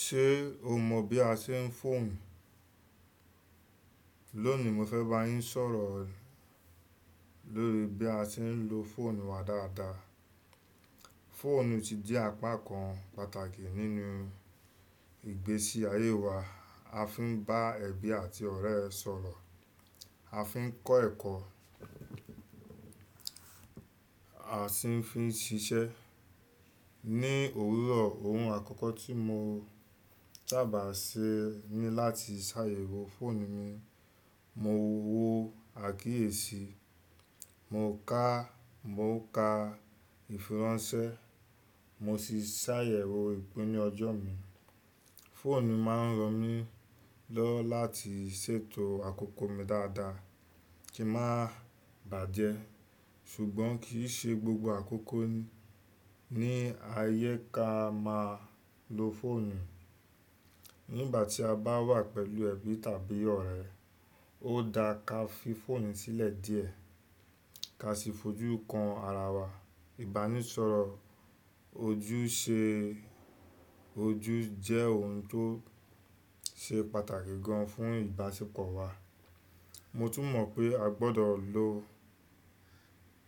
Ṣé o mọ̀ bí a ṣe ń fọ̀on? Lónìí mo fẹ́ bá yín sọ̀rọ̀ lórí bí a ṣe ń lo fọ̀onù wa dáadáa. Fọ̀nù ti di apá kan pàtàkì nínú ìgbésí ayé wa. A fi ń bá ẹbí àti ọ̀rẹ́ sọ̀rọ̀, a fi ń kọ́ ẹ̀kọ́, a sì fi ń ṣiṣẹ́. Ni òwúrọ̀, ohun àkọ́kọ́ tí mo sábà n ṣe ni láti ṣàyẹ̀wò fọ̀onù mi. Mo wo àkíyèsí, mo ká, mo ka ìfiránsẹ́, mo sì ṣàyẹ̀wò ìpinnu ọjọ́ mi. Fọ̀nù máa ń ran mí lọ́ láti ṣètò àkókò mi dáadáa kí má bàjẹ́. Ṣùgbọ́n kì í ṣe gbogbo àkókò ni àyè ka máa lo fọ̀nù. Nígbà tí a bá wà pẹ̀lú ẹbí tàbí ọ̀rẹ́, ó da ka fi fọ̀onù sílẹ̀ díẹ̀ ka sì fojú kan ara wa. Ìbánisọ̀rọ̀ ojú ṣe ojú jẹ́ ohun tó ṣe pàtàkì gan fún ìbáṣepọ̀ wa. Mo tún mọ̀ pé a gbọdọ̀ lo,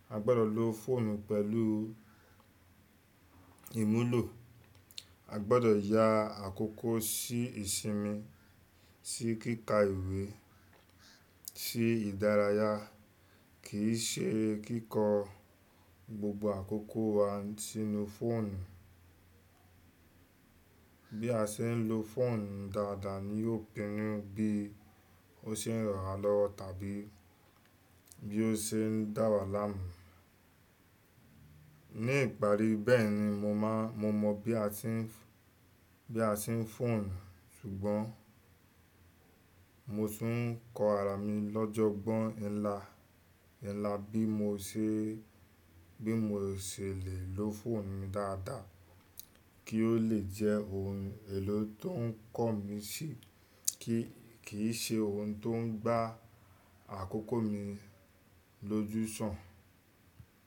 a gbọdọ̀ lo fọ̀nù pẹ̀lú ìmúlò. A gbọdọ̀ ya àkókò sí ìsinmi, sí kíkà ìwé, sí ìdárayá kì í ṣe kíkọ gbogbo àkókò wa sínú fọ̀onù. Bí a ṣe ń lo fọ̀onù dáadáa ni yóò pinnu bí ó ṣe ń rànwá lọ tàbí bí ó ṣe ń dá wa láàmú. Ní ìparí bẹ́ẹ̀ ni mo mọ̀ bí a ṣe ń fọ̀on. Ṣùgbọ́n mo tún ń kọ ara mi lọ́jọ́ ogbọ́n ńlá, ńlá bí mo ṣe lè lo fọ̀onù mi dáadáa kí ó lè jẹ́ ohun èlò tó ń kọ́ mi sí kì í ṣe ohun tó ń gbá àkókò mi lójú sàn.